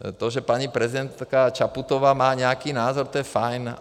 To, že paní prezidentka Čaputová má nějaký názor, to je fajn.